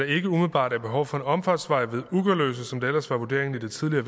ikke umiddelbart er behov for en omfartsvej ved ugerløse som det ellers var vurderingen i det tidligere